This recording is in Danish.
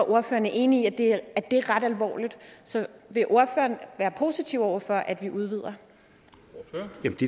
ordføreren er enig i at det er ret alvorligt så vil ordføreren være positiv over for at vi udvider